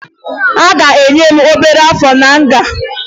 A ga-enye m obere áfọ̀ na nga